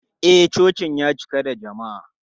E, cocin ya cika da jama'a.